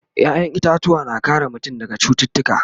ƴaƴan itatuwa na kare mutum daga cututtuka